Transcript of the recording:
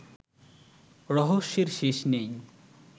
রহস্যের শেষ নেই